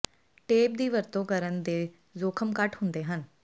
tape ਦੀ ਵਰਤੋਂ ਕਰਨ ਦੇ ਜੋਖਮ ਘੱਟ ਹੁੰਦੇ ਹਨ